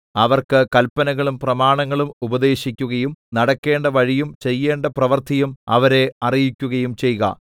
അവർക്ക് കല്പനകളും പ്രമാണങ്ങളും ഉപദേശിക്കുകയും നടക്കേണ്ട വഴിയും ചെയ്യേണ്ട പ്രവൃത്തിയും അവരെ അറിയിക്കുകയും ചെയ്ക